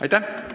Aitäh!